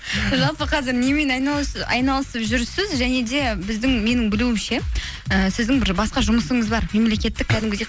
жалпы қазір немен айналысып жүрсіз және де біздің менің білуімше ііі сіздің бір басқа жұмысыңыз бар мемлекеттік кәдімгідей